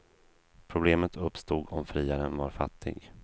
Problemet uppstod om friaren var fattig.